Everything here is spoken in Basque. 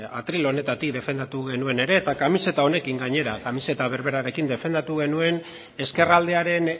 atril honetatik defendatu genuen ere eta kamiseta honekin gainera kamiseta berberarekin defendatu genuen ezkerraldearen